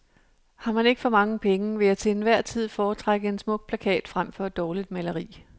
Har man ikke for mange penge, vil jeg til hver en tid foretrække en smuk plakat frem for et dårligt maleri.